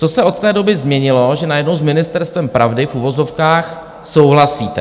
Co se od té doby změnilo, že najednou s ministerstvem pravdy, v uvozovkách, souhlasíte?